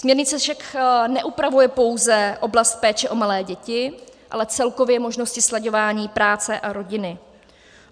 Směrnice však neupravuje pouze oblast péče o malé děti, ale celkově možnosti slaďování práce a rodiny.